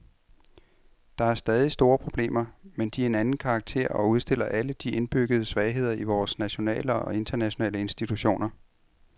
Der er stadig store problemer, men de er af en anden karakter og udstiller alle de indbyggede svagheder i vore nationale og internationale institutioner.